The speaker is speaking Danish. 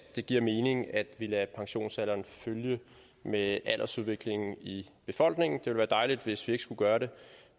det giver mening at vi lader pensionsalderen følge med aldersudviklingen i befolkningen det ville være dejligt hvis vi ikke skulle gøre det